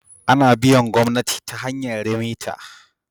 Ana biyan gomnati ta hanyar remita